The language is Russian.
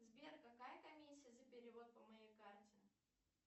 сбер какая комиссия за перевод по моей карте